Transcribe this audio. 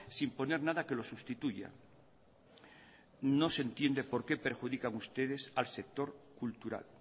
sin poner nada que lo sustituya no se entiende por qué perjudican ustedes al sector cultural